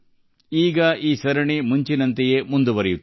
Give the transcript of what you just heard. ಈಗ ಈ ಸರಣಿ ಮತ್ತೆ ಮೊದಲಿನಂತೆಯೇ ಮುಂದುವರಿಯಲಿದೆ